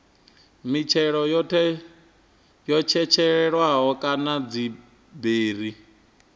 mitshelo yo tshetshelelwaho kana dziberi